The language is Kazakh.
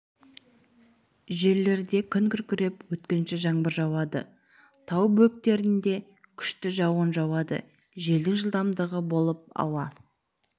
жерлерде күн күркіреп өткінші жаңбыр жауады тау бөктерлерінде күшті жауын жауады желдің жылдамдығы болып ауа